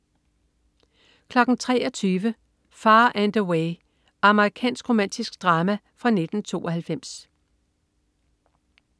23.00 Far and Away. Amerikansk romantisk drama fra 1992